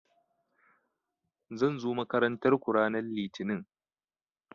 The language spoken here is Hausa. Zan zo makarantar ku ranan litini